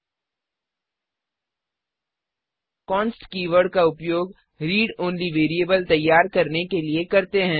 const keyword का उपयोग read only variable readonly variable तैयार करने के लिए करते हैं